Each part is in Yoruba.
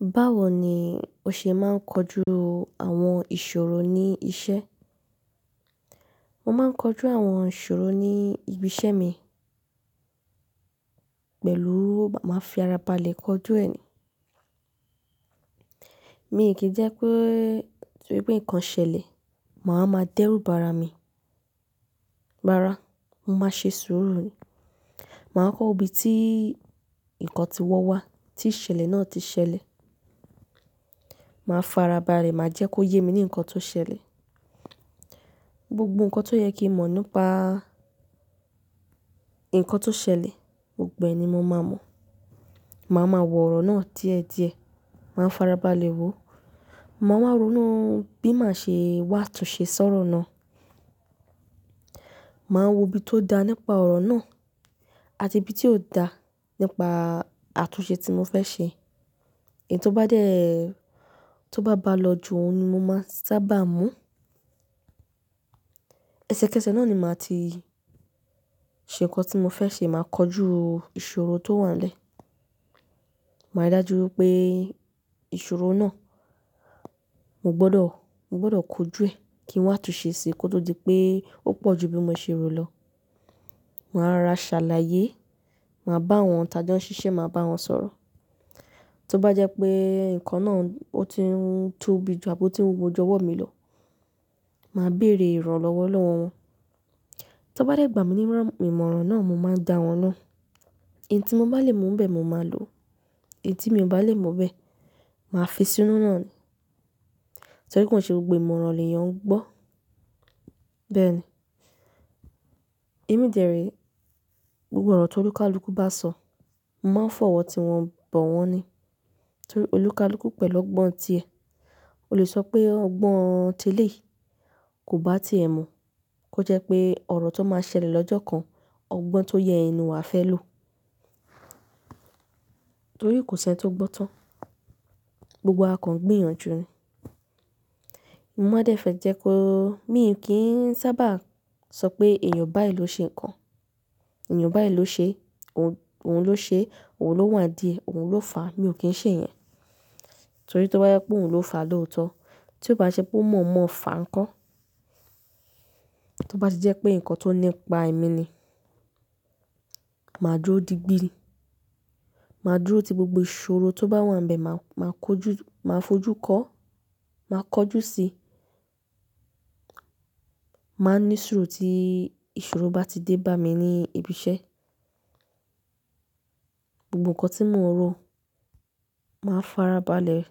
Báwo ni o ṣe máa ń kojú àwọn ìṣòro ní iṣẹ́? Mo máa ń kojú àwọn ìṣòro ní ibi iṣẹ́ mi pẹ̀lú máa fi ara balẹ̀ kojú ẹ̀ ni. Mi ò kí jẹ́ pé torí pé nǹkan ṣẹlẹ̀, màá máa dẹ́rùbàra mi. Rárá, mo máa ṣe sùúrù ni. Màá kọ́ ibi tí nǹkan tí wọ́ wá, tí ìṣẹ̀lẹ̀ náà ti ṣẹlẹ̀. Màá fara balẹ̀, màá jẹ́ kó yé mi ní nǹkan tó ṣẹlẹ̀. Gbogbo nǹkan tó yẹ kí mọ̀ nípa nǹkan tó ṣẹlẹ̀, gbogbo ẹ̀ ni mo máa mọ̀. Màá ma wọ̀ ọ̀rọ̀ náà díẹ̀ díẹ̀, màá fara balẹ̀ wò ó, màá wá ronú bí màá ṣe wá tún ṣe ṣọ́rọ̀ náà. Màá wo ibi tó da nípa ọ̀rọ̀ náà àti ibi tí ò da nípa àtúnṣe tí mo fẹ́ ṣe. Èyí tó bá dẹ́, tó bá bá lọ jù òun ni mo máa sábà mú. Ẹ̀sẹ́kẹsẹ̀ náà ni màá ti ṣe nǹkan tí mo fẹ́ ṣe, màá kojú ìṣòro tó wà lẹ́ẹ̀. Màá rí dájú pé ìṣòro náà, mo gbọdọ̀, mo gbọdọ̀ kojú ẹ̀ kí wọ́n má tún ṣe é ṣe kó tó di pé ó pọ̀ ju bí mo ṣe rò lọ. Màá ra ṣàlàyé, màá bá àwọn tàbí jẹ́ ó ń ṣiṣẹ́, màá bá wọn sọ̀rọ̀. Tó bá jẹ́ pé nǹkan náà ó ti ń tóbi jù, àbo tí ń wọjọ wọ́ mi lọ, màá bèèrè ìrànlọ́wọ́ lọ́wọ́ wọn. Tó bá dẹ́ gbà mí ní rán ìmọ̀ràn náà, mo máa dà wọ́n lóhùn. Èyí tí mo bá lè mọ̀ bẹ́ẹ̀, mo máa lò ó. Èyí tí mi ò bá lè mọ̀ bẹ́ẹ̀, màá fi sí inú náà ni. Torí pé kò ṣe gbogbo ìmọ̀ràn ni èèyàn ń gbọ́. Bẹ́ẹ̀ ni. Èmi jẹ́ rí gbogbo ọ̀rọ̀ tó olúkalúkú bá sọ, mo máa fọ̀wọ́ tí wọn bọ̀ wọ́n ni. Torí olúkalúkú pẹ̀lú ọgbọ́n ti ẹ̀. O lè sọ pé ọgbọ́n tèlé kò bá ti è mu kó jẹ́ pé ọ̀rọ̀ tó máa ṣẹlẹ̀ lọ́jọ́ kan, ọgbọ́n tó yẹ inú wa fẹ́ lò. Torí kò sì ẹni tó gbọ́n tán. Gbogbo wa kàn ń gbìyànjú ni. Mo nmọ́ dẹ́fẹ̀ẹ́ jẹ́ kó, mi ò kí ń sábà sọ pé èèyàn báyi ló ṣe nǹkan, èèyàn báyi ló ṣe, òun ló ṣe, òun ló wà díẹ̀, òun ló fàá, mi ò kí ń ṣe ìyẹn. Torí tó bá yẹ pé òun ló fà á lóòótọ́, tí ó bá ṣe pé ó mọ̀ mọ́ fà á ńkọ́? Tí ó bá ti jẹ́ pé nǹkan tó nípa èmi ni, màá dúró di gbi ni. Màá dúró ti gbogbo ìṣòro tó bá wà níbẹ̀, màá máa kojú, màá fojú kọ́, màá kọjú sí i. Màá ní sùúrù tí ìṣòro bá ti dé bá mi ní ibi iṣẹ́. Gbogbo nǹkan tí mò ń ro, màá fara balẹ̀.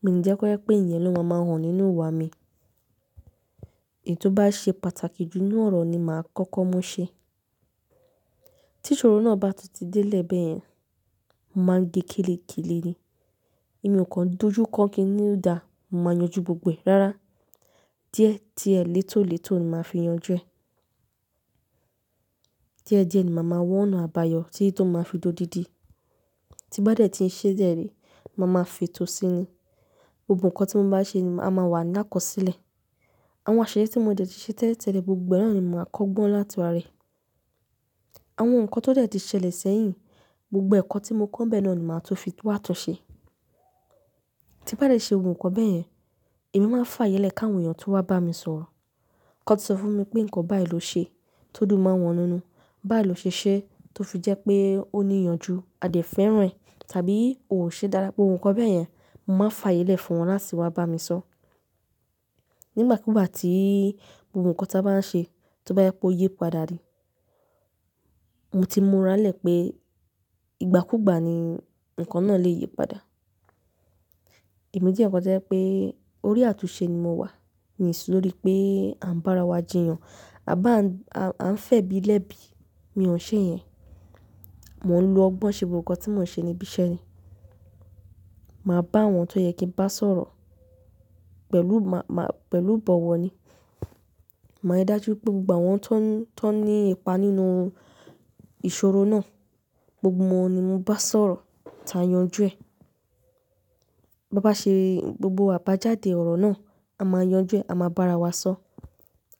Mi ò ní jẹ́ kó jẹ́ pé èèyàn ló máa ń hàn nínú ìwà mi. Èyí tó bá ṣe pàtàkì jù nínú ọ̀rọ̀ ni màá kọ́kọ́ mú ṣe. Tí ìṣòro náà bá ti dé lè bẹ́ẹ̀ yẹn, màá ge kílékílé ni. Èmi ò kan dújú kọ́ kí i nílùú da, mo máa yanjú gbogbo ẹ̀. Rárá. Díẹ̀ díẹ̀ létòlètò ni màá fi yanjú ẹ̀. Díẹ̀ díẹ̀ ni màá máa wọ́n nù àbáyọ, tí tòun máa fi jó dídí. Tí bá dẹ́ tí i ṣe déèrè, mo máa fi tò sí i ni. Gbogbo nǹkan tí mo bá ṣe ni màá máa wà lákòósílẹ̀. Àwọn àṣeyẹrí tí mo dẹ̀ tí ṣe tẹ́lẹ̀ tẹ́lẹ̀ gbogbo ẹ̀ ni màá kọ́ gbọ́n láti wá rẹ. Àwọn nǹkan tó dẹ̀ ti ṣẹlẹ̀ sẹ́yìn, gbogbo ẹ̀ kan tí mo kọ́ bẹ́ẹ̀ náà ni màá tún fi wá tún ṣe. Tí bá dẹ́ ṣe ohun kan bẹ́ẹ̀ yẹn, èmi máa fààyélẹ̀ káwọn èèyàn tó wá bá mi sọ̀rọ̀. Kọ́ tí sọ fún mi pé nǹkan báyi ló ṣe, tó dùn máa wọn nínú, báyi ló ṣe ṣẹ́, tó fi jẹ́ pé ó níyanjú, a dẹ̀ fẹ́ràn rẹ̀, tàbí ò ṣe dára pé ohun kan bẹ́ẹ̀ yẹn, mo máa fààyélẹ̀ fún wọn láti wá bá mi sọ. Nígbàkúùgbà tí gbogbo nǹkan tí a bá ń ṣe, tó bá yẹ kó yípadà ni, mo ti mọránlẹ̀ pé ìgbàkúùgbà ni nǹkan náà lè yípadà. Èmi jẹ́ kọ́ ẹ jẹ́ pé orí àtúnṣe ni mo wà. Mi ò ṣe lórí pé à ń bá ara wa jiyàn, à ń bà ń, à ń fẹ̀bi lẹ́bi. Mi ò ṣe ìyẹn. Mò ń lo ọgbọ́n ṣe gbogbo nǹkan tí mò ń ṣe ní ibi iṣẹ́ ni. Màá bá àwọn tó yẹ kí ń bá sọ̀rọ̀ pẹ̀lú, màá, pẹ̀lú ìbọ̀wọ̀ ni. Màá rí dájú pé gbogbo àwọn tó ń, tó ní ipa nínú ìṣòro náà, gbogbo wọn ni mo bá sọ̀rọ̀ táa yanjú ẹ̀. Bá bá ṣe gbogbo àbájáde ọ̀rọ̀ náà, a máa yanjú ẹ̀, a máa bá ara wa sọ.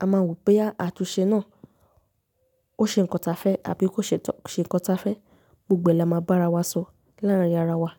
A máa wò pé àtúnṣe náà ó ṣe nǹkan ta fẹ́ tàbí kó ṣe tọ́, ṣe nǹkan ta fẹ́. Gbogbo ẹ̀ la máa bá ara wa sọ láàárín ara wa.